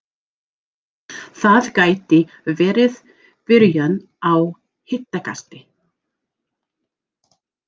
Það gæti verið byrjun á hitakasti